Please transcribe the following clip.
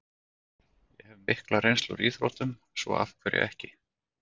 Ég hef mikla reynslu úr íþróttum, svo af hverju ekki?